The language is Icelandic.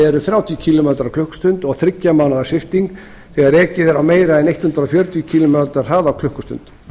er þrjátíu kílómetrar á klukkustund og þriggja mánaða sviptingu þegar ekið er á meira en hundrað fjörutíu kílómetra hraða á klukkustund